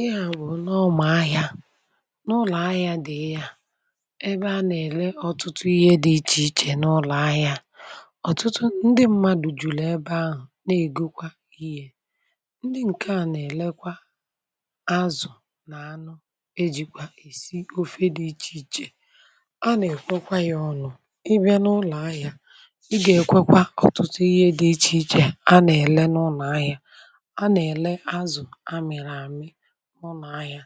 ịhà bù n’ọmà ahịȧ n’ụlọ̀ ahịȧ dị̀ um ịhà ebe a nà-èle ọtụtụ ihe dị ichè ichè n’ụlọ̀ ahịȧ ọ̀tụtụ ndị mmadụ̀ jùlù ebe ahụ̀ na-ègokwa ihe ndị ǹkè a nà-èlekwa azụ̀ na anụ ejikwa èsi ofe dị ichè ichè a nà-èkwekwa ya ọnụ̇ um ị bịa n’ụlọ̀ ahịa ị gà-èkwekwa ọtụtụ ihe dị ichè ichè a nà-èle n’ụnọ̀ ahịa n’ụnọ̀ ahịa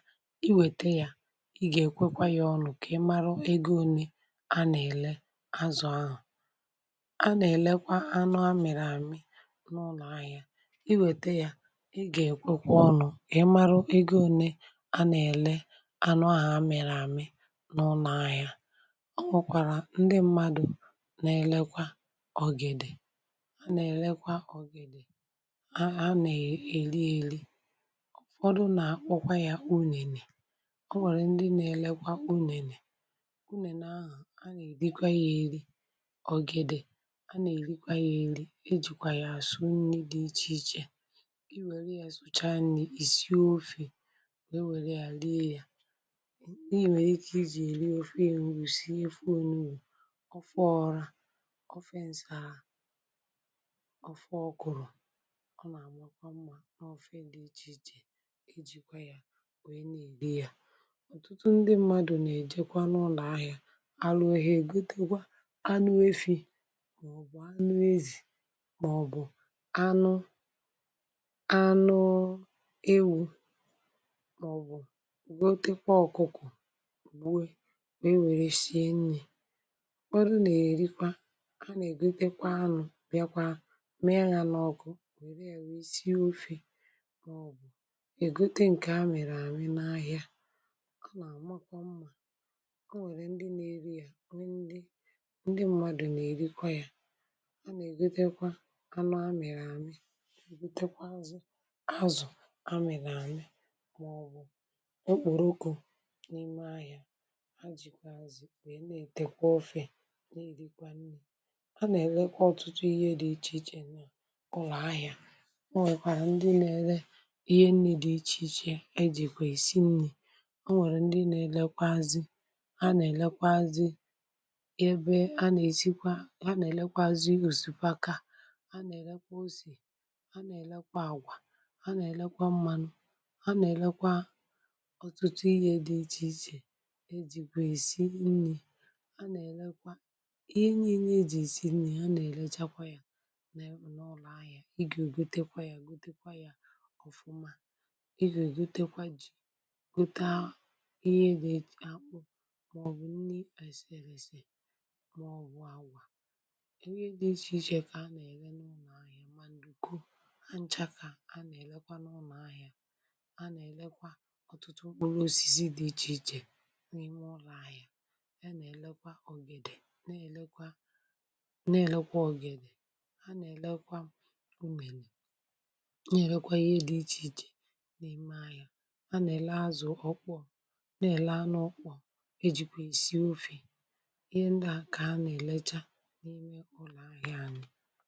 i wete ya i ga-ekwekwa ya ọnụ ka ị mara ego onye a na-ele azụ ahụ a na-elekwa anụ a mere amị n’ụnọ̀ ahịa um i wete ya i ga-ekwekwa ọnụ ị mara ego onye a na-ele anụ a a mere amị um n’ụnọ̀ ahịa a nwekwara ndị mmadu na-elekwa ọgede a na-elekwa ọgede a na-eli eli ọ nwèrè ndị na-elekwa unhènè unhènè ahụ̀ a nà-èrikwa yȧ ėri̇ ọ̀gidè a nà-èrikwa yȧ ėri̇ ejìkwà yà àsụ nni dị ichè ichè i wère yȧ zụcha n’ìrì ìsie ofì wee wère yȧ lie yȧ i nwèrè ike ichè ìri ofe èrùsie fụ onue ọ fụ ọrȧ ofe ǹsàa ọfụ ọkụrụ̀ ọ nà-àmakwa mmȧ n’ọfẹ dị̇ ichè ichè um wee na-èri ya ọtụtụ ndị mmadụ̀ na-èjekwa n’ụlọ̀ ahịa alụwehịa ègutekwa anụ efi̇ màọ̀bụ̀ anụ ezì màọ̀bụ̀ anụ anụewu̇ màọ̀bụ̀ gwotekwa ọkụkụ gbuo wee were shie nni̇ ọ bụrụ nà-èrikwa a na-ègutekwa anụ̇ bịakwa mee ya nà ọkụ wère èwèsie ofė egote ǹkè amị̀rị àmị n’ahịa a nà-àmakwa mmà o nwèrè ndị nà-eri ya ndị ndị mmadụ̀ nà-èrikwa ya a nà-ègotekwa anụ amịrị àmị butekwa azụ̀ azụ̀ amịrị àmị màọbụ̀ okpòròkò n’ime ahịȧ ha jìkwa azụ̀ nà ètèkwa ofė a a nà-èlekwa ọ̀tụtụ ihe dị ichè ichè nà kụlụ̀ ahịȧ e jìkwà isi nni̇ o nwèrè ndị na-elekwa azị ha nà-elekwa azị ya ebe a nà-èsikwa ha nà-elekwa azị òsìpaka ha nà-èlekwa osì ha nà-èlekwa àgwà ha nà-èlekwa mmȧnụ̇ ha nà-èlekwa ọ̀tụtụ ihė dị ichè ichè um e jìkwà ìsi nni̇ a nà-èlekwa ihe nyinye e jì sì nni̇ ha nà-èlechakwa ya nà ụnọ̀lụ̀ ahị̀a ịgè ò gotekwa ya gotekwa ya ọ̀fụma gutaa ihe dị̇ akpụ màọ̀bụ̀ nni èsèlèsè màọ̀bụ̀ awà ihe dị ichèichè kà a nà-ère n’ụnọ̀ ahịa, maǹdùku ha nchȧkà a nà-èlekwa n’ụnọ̀ ahịa a nà-èlekwa ọ̀tụtụ ụlọ òsìzi dị ichèichè n’ime ọrụ̇ ahịa ya nà-èlekwa ọ̀gèdè, na-èlekwa na-èlekwa ọ̀gèdè a nà-èlekwa umèrè um na-èlekwa ihe dị ichèichè ọkpọ̀ na-ele anụ ọkpọ̀ ejikwa isi ofè ihe ndị a ka ana-eleja n’ime ụlọ ahịa anyị.